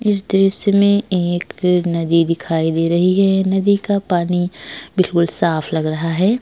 इस दृश्य मे एक नदी दिखाई दे रही है। नदी का पानी बिल्कुल साफ लग रहा है।